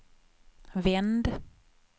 vänd